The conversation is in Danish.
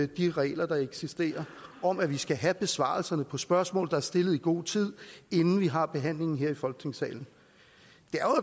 de regler der eksisterer om at vi skal have besvarelserne på spørgsmål der er stillet i god tid inden vi har behandlingen her i folketingssalen